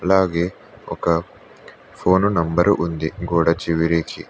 అలాగే ఒక phone number ఉంది గోడ చివరికి.